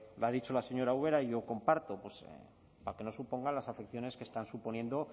lo ha dicho la señora ubera y yo comparto pues para que no supongan las afecciones que están suponiendo